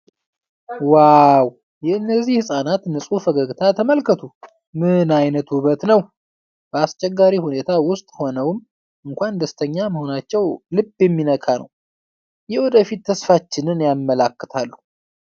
ዋው! የእነዚህን ሕፃናት ንፁህ ፈገግታ ተመልከቱ! ምን አይነት ውበት ነው! በአስቸጋሪ ሁኔታ ውስጥ ሆነውም እንኳን ደስተኛ መሆናቸው ልብ የሚነካ ነው፤ የወደፊት ተስፋችንን ያመለክታሉ!